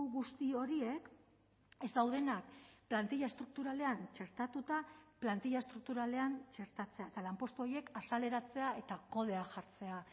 guzti horiek ez daudenak plantilla estrukturalean txertatuta plantilla estrukturalean txertatzea eta lanpostu horiek azaleratzea eta kodea jartzea